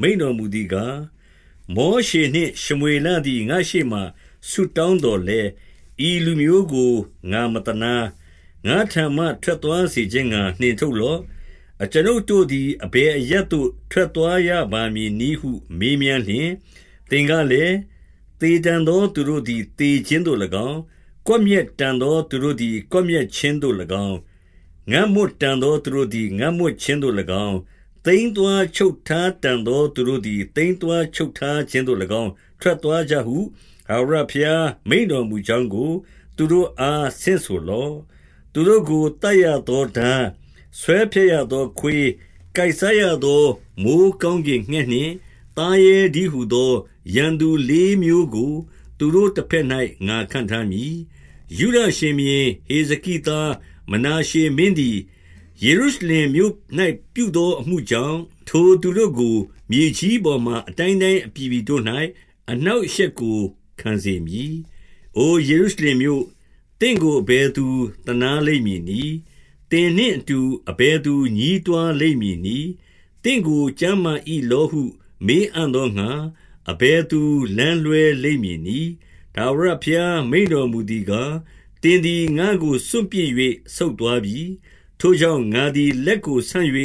မိန့်တော်မူ သည်ကား၊ မောရှေနှင့်ရှမွေလသည် ငါ့ရှေ့မှာ ဆုတောင်း သော်လည်း၊ ဤလူမျိုးကို ငါမသနား။ ငါ့ထံမှ ထွက်သွား စေခြင်းငှါ နှင်ထုတ်လော့။ 2 အကျွန်ုပ်တို့သည် အဘယ်အရပ်သို့ ထွက်သွားရ ပါမည်နည်းဟု မေးမြန်းလျှင်၊ သင်ကလည်း၊ သေတန် သော သူတို့သည် သေခြင်းသို့၎င်း၊ ကွပ်မျက်တန်သော သူတို့သည် ကွပ်မျက်ခြင်းသို့၎င်း၊ ငတ်မွတ်တန်သော သူတို့သည် ငတ်မွတ်ခြင်းသို့၎င်း၊ သိမ်းသွားချုပ်ထားတန် သော သူတို့သည် သိမ်းသွားချုပ်ထားခြင်းသို့၎င်း ထွက် သွားကြဟု ထာဝရဘုရား မိန့်တော်မူကြောင်းကို သူတို့ အား ဆင့်ဆိုလော့။ 3 သူတို့ကို သတ်ရသောထား၊ ဆွဲဖြတ်ရသောခွေး၊ ကိုက်စားရသော မိုဃ်းကောင်းကင်ငှက်နှင့် သားရဲတည်း ဟူသော ရန်သူလေးမျိုးကို သူတို့တဘက်၌ ငါခန့်ထား မည်။ 4 ယုဒရှင်ဘုရင်ဟေဇက်သား မနာရှေမင်းသည် ယေရုရှလင်မြို့၌ ပြုသောအမှုကြောင့်၊ ထိုသူတို့ကို မြေကြီး ပေါ်မှာ အတိုင်းတိုင်းအပြည်ပြည်တို့၌ အနှောင့်အရှက် ကို ခံစေမည်။ 5 အို ယေရုရှလင်မြို့၊ သင့်ကို အဘယ်သူသနား လိမ့်မည်နည်း။ သင်နှင့်အတူ အဘယ်သူ ညည်းတွားလိမ့် မည်နည်း။ သင့်ကိုကျန်းမာ၏လောဟု မေးအံ့သောငှါ၊ အဘယ်သူ လမ်းလွှဲလိမ့်မည်နည်း။ 6 ထာဝရဘုရား မိန့်တော်မူသည်ကား၊ သင်သည် ငါ့ကို စွန့်ပစ်၍ ဆုတ်သွားပြီ။ ထိုကြောင့်၊ ငါသည် လက်ကို ဆန့်၍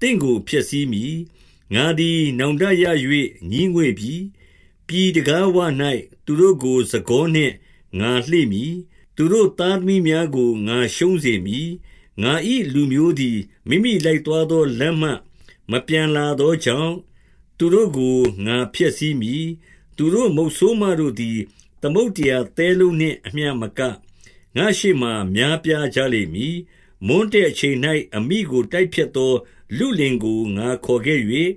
သင့်ကို ဖျက်ဆီးမည်။ ငါသည် နောင်တရ၍ ငြီးငွေ့ပြီ။ 7 ပြည်တံခါးဝ၌ သူတို့ကို စံကောနှင့်ငါလှေ့မည်။ သူတို့သားသမီးများကို ငါရှုံးစေမည်။ ငါ၏ လူမျိုးသည် မိမိလိုက်သွားသော လမ်းမှမပြန်လာသောကြောင့်၊ သူတို့ ကို ငါဖျက်ဆီးမည်။ 8 သူတို့မုတ်ဆိုးမတို့သည် သမုဒ္ဒရာသဲလုံးနှင့် အမျှမက၊ ငါ့ရှေ့မှာ များပြားကြလိမ့်မည်။ မွန်းတည့် အချိန်၌ အမိကို တိုက်ဖျက်သော လုလင်ကို ငါခေါ်ခဲ့၍၊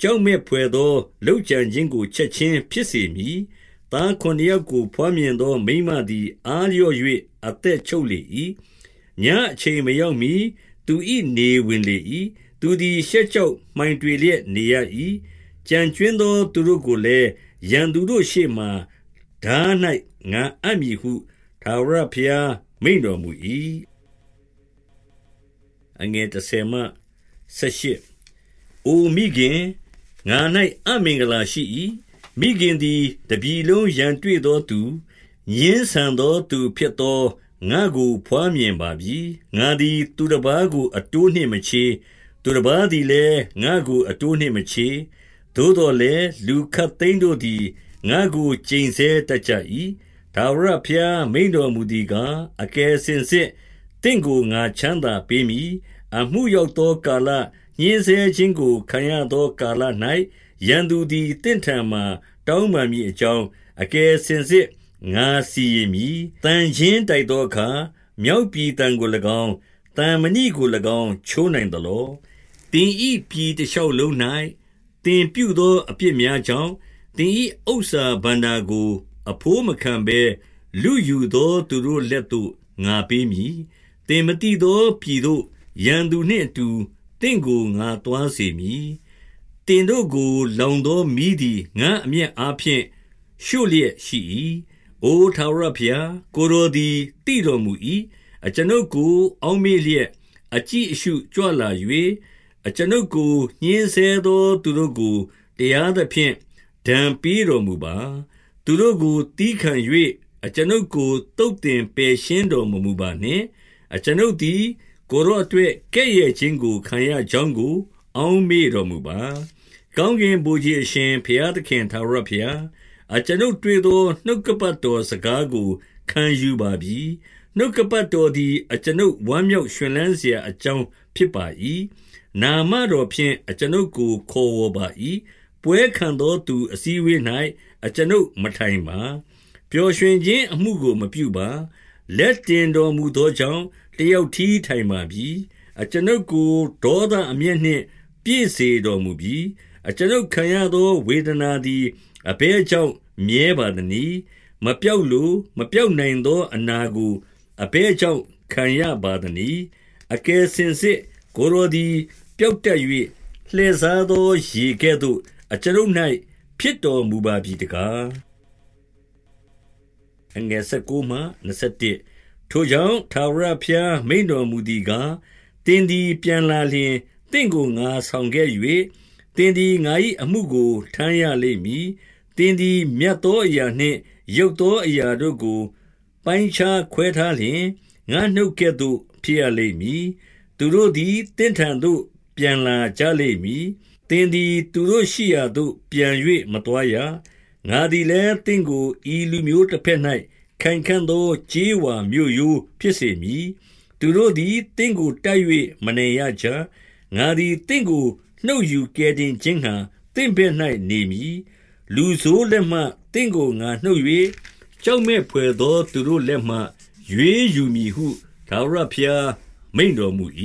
ကြောက်မက်ဘွယ်သော လုပ်ကြံခြင်းကို ချက်ခြင်း ဖြစ်စေမည်။ 9 သားခုနစ်ယောက်ကို ဘွားမြင်သော မိန်းမ သည် အားလျော့၍ အသက်ချုပ်လေ၏။ ညအချိန် မရောက်မှီ သူ၏နေဝင်လေ၏။ သူသည် ရှက်ကြောက် မှိုင်တွေလျက်နေရ၏။ ကျန်ကြွင်းသော သူတို့ကိုလည်း၊ ရန်သူတို့ရှေ့မှာ၊ ထား၌ ငါအပ်မည်ဟု ထာဝရဘုရား မိန့်တော်မူ၏။ 10 အို မိခင်၊ ငါ၌ အမင်္ဂလာရှိ၏။ မိခင်သည် တပြည်လုံးရန်တွေ့ သောသူ၊ ငြင်းဆန်သောသူဖြစ်သော ငါ့ကို ဘွားမြင်ပါပြီ။ ငါသည် သူတပါး ကိုအတိုးနှင့်မချေး။ သူတပါးသည်လည်း ငါ့ကိုအတိုးနှင့်မချေး။ သို့သော် လည်း၊ လူခပ်သိမ်းတို့သည် ငါ့ကိုကျိန်ဆဲ တတ်ကြ၏။ 11 ထာဝရဘုရား မိန့်တော်မူသည်ကား၊ အကယ် စင်စစ်သင့်ကို ငါချမ်းသာပေးမည်။ အမှုရောက်သော ကာလ၊ ညှဉ်းဆဲခြင်းကို ခံရသော ကာလ၌၊ ရန်သူသည် သင့်ထံမှာ တောင်ပန်းမည်အကြောင်း၊ အကယ်စင်စစ် ငါစီရင်မည်။ 12 သံချင်းတိုက်သောအခါ မြောက်ပြည်သံကို၎င်း၊ သံမဏိကို၎င်း ချိုးနိုင်သလော။ 13 သင်၏ပြည်တရှောက်လုံး၌ သင်ပြုသော အပြစ် များကြောင့်၊ သင်၏ဥစ္စာဘဏ္ဍာကို အဘိုးမခံဘဲ လုယူ သော သူတို့လက်သို့ ငါပေးမည်။ 14 သင်မသိသောပြည်သို့ ရန်သူနှင့်အတူ သင့်ကို ငါသွားစေမည်။ သင်တို့ကို လောင်သောမီးသည် ငါ့ အမျက်အားဖြင့် ရှို့လျက်ရှိ၏။ 15 အို ထာဝရဘုရား၊ ကိုယ်တော်သည် သိတော် မူ၏။ အကျွန်ုပ်ကို အောက်မေ့လျက် အကြည့်အရှု ကြွလာ၍၊ အကျွန်ုပ်ကို ညှဉ်းဆဲသောသူတို့ကို တရားသဖြင့် ပေးတော်မူပါ။ သူတို့ကိုသည်းခံ၍၊ အကျွန်ုပ်ကို သုတ်သင်ပယ်ရှင်းတော်မမူပါနှင့်။ အကျွန်ုပ်သည် ကိုယ်တော်အတွက် ကဲ့ရဲ့ခြင်း ခံရကြောင်း ကို အောက်မေ့တော်မူပါ။ 16 ကောင်းကင်ဗိုလ်ခြေအရှင် ဘုရားသခင် ထာဝရဘုရား၊ အကျွန်ုပ်တွေ့သော နှုတ်ကပတ်တော် စကားကို ခံယူပါပြီ။ နှုတ်ကပတ်တော်သည် အကျွန်ုပ် ဝမ်းမြောက်ရွှင်လန်းစရာအကြောင်း ဖြစ်ပါ၏။ နာမ တော်ဖြင့် အကျွန်ုပ်ကိုခေါ်ဝေါ်ပါ၏။ 17 ပွဲခံသောသူအစည်းအဝေး၌ အကျွန်ုပ်မထိုင်ပါ။ ပျော်ရွှင်ခြင်းအမှုကို မပြုပါ။ လက်တင်တော်မူသော ကြောင့်၊ တယောက်တည်း ထိုင်ပါပြီ။ အကျွန်ုပ်ကို ဒေါသ အမျက်နှင့် ပြည့်စေတော်မူပြီ။ 18 အကျွန်ုပ်ခံရသော ဝေဒနာသည် အဘယ် ကြောင့် မြဲပါသနည်း။ မပျောက်လို၊ မပျောက်နိုင်သော အနာကို အဘယ်ကြောင့် ခံရပါသနည်း။ အကယ်စင်စစ် ကိုယ်တော်သည် ပျောက်တတ်၍၊ လှည့်စားသောရေကဲ့သို့ အကျွန်ုပ်၌ ဖြစ်တော်မူပါပြီတကား။ 19 ထိုကြောင့်၊ ထာဝရဘုရားမိန့်တော်မူသည်ကား၊ သင်သည် ပြန်လာလျှင်၊ သင့်ကိုငါဆောင်ခဲ့၍၊ သင်သည် ငါ၏အမှုကို ထမ်းရလိမ့်မည်။ သင်သည် မြတ်သောအရာ နှင့် ယုတ်သောအရာတို့ကို ပိုင်းခြားခွဲထားလျှင်၊ ငါ့နှုတ် ကဲ့သို့ ဖြစ်ရလိမ့်မည်။ သူတို့သည် သင့်ထံသို့ ပြန်လာကြ လိမ့်မည်။ သင်သည် သူတို့ရှိရာသို့ ပြန်၍ မသွားရ။ 20 ငါသည်လည်း သင့်ကို ဤလူမျိုးတဘက်၌ ခိုင်ခံ့ သော ကြေးဝါမြို့ရိုးဖြစ်စေမည်။ သူတို့သည် သင့်ကို တိုက်၍ မနိုင်ရကြ။ ငါသည် သင့်ကို နှုတ်ယူကယ်တင် ခြင်းငှါ သင့်ဘက်၌နေမည်။ 21 လူဆိုးလက်မှ သင့်ကို ငါနှုတ်၍၊ ကြောက်မက် ဖွယ်သော သူတို့လက်မှ ရွေးယူမည်ဟု ထာဝရဘုရား မိန့်တော်မူ၏။